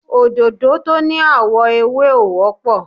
Òdòdó tó ní àwọ̀ ewé ò wọ́pọ̀.